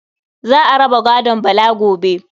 Za a raba gadon Bala gobe.